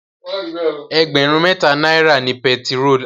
Ẹgbẹ̀rún mẹ́ta náírà ni pẹtirólù.